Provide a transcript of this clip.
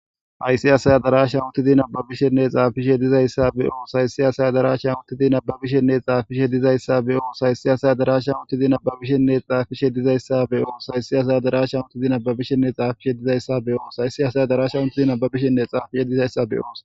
Hayssi asaya daraasha utidi nababishenne xaafishe dizayssa be oos haysi asaya darasha uttidi nababishenne xaafishe dizayssa be oos haysi asaya darasha uttizi nababishenne xaafishe dizayssa be oos haysi asaya darasha utizi nababishenne xaafishe dizayssa be oos haysi asaya darasha untidi ababishenne xaafishe dizayssa be'oos.